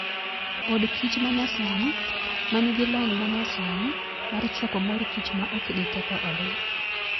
Od kich mayasani ma nigi lony manyasini mar choko mor kich ma ok giketho odgi.